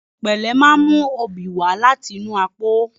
Ohùn pẹ̀lẹ́ máa ń mú oobi wá láti inú àpò.